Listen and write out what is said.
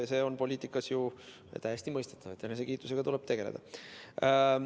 See on poliitikas ju täiesti mõistetav, et enesekiitusega tuleb tegeleda.